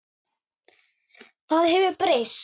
Það hefur breyst.